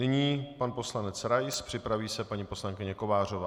Nyní pan poslanec Rais, připraví se paní poslankyně Kovářová.